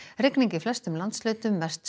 rigning í flestum landshlutum mest